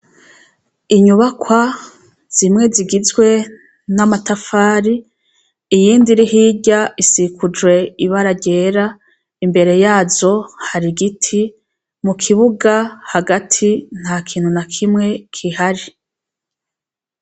Inyubakwa zimwe zigizwe namatafari iyindi iri hirya isigijwe ibara ryera imbere yazo hari igiti mukibuga hagati ntakintu nakimwe gihari